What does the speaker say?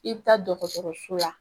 I bɛ taa dɔgɔtɔrɔso la